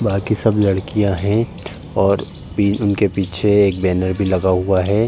बाकी सब लडकियाँ है और पी उनके पीछे एक बैनर भी लगा हुआ है।